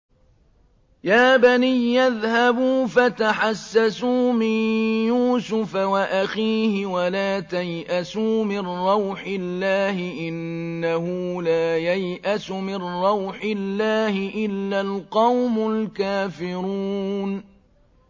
يَا بَنِيَّ اذْهَبُوا فَتَحَسَّسُوا مِن يُوسُفَ وَأَخِيهِ وَلَا تَيْأَسُوا مِن رَّوْحِ اللَّهِ ۖ إِنَّهُ لَا يَيْأَسُ مِن رَّوْحِ اللَّهِ إِلَّا الْقَوْمُ الْكَافِرُونَ